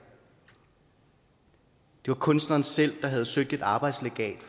det var kunstneren selv der havde søgt et arbejdslegat